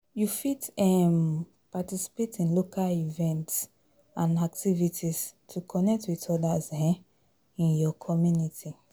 You fit um participate in local events and activites to connect with odas um in your communty.